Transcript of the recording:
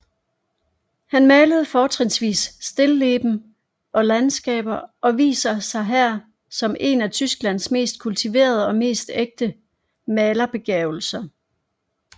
Han malede fortrinsvis stilleben og landskaber og viser sig her som en af Tysklands mest kultiverede og mest ægte malerbegavelser